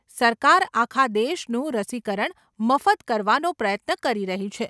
સરકાર આખા દેસનું રસીકરણ મફત કરવાનો પ્રયત્ન કરી રહી છે.